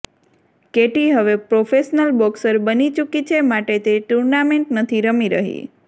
KT હવે professional boxer બની ચૂકી છે માટે તે ટૂર્નામેન્ટ નથી રમી રહી